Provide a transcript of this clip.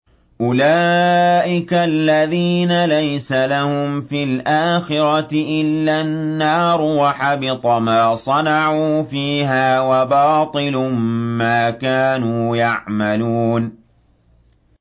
أُولَٰئِكَ الَّذِينَ لَيْسَ لَهُمْ فِي الْآخِرَةِ إِلَّا النَّارُ ۖ وَحَبِطَ مَا صَنَعُوا فِيهَا وَبَاطِلٌ مَّا كَانُوا يَعْمَلُونَ